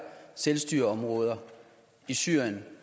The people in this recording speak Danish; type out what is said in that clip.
selvstyreområder i syrien